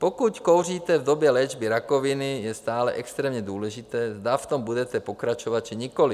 Pokud kouříte v době léčby rakoviny, je stále extrémně důležité, zda v tom budete pokračovat, či nikoli.